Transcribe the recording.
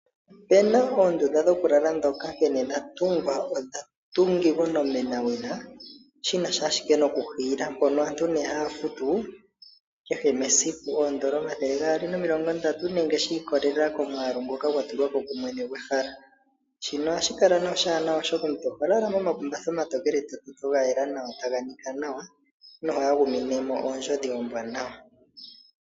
Opuna oondunda dhimwe dhokulala nkene dhatungwa odhatungilwa onomena wina, ndhono aantu haye dhihiile koondola omathele gaali nomilonga ndatu nenge shikololela komwaalu ngoka gwatulwapo kumwene gwehala, shino ohashi kala oshaanawa, oshoka omuntu ohololala omakumbatha omatokeletototo, taga nika nawa noho aguminemo oondjodhi oombwanawa.